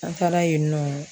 An taara yen nɔ